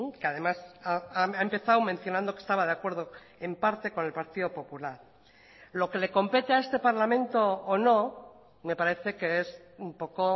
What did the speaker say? que además ha empezado mencionando que estaba de acuerdo en parte con el partido popular lo que le compete a este parlamento o no me parece que es un poco